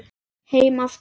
Heim aftur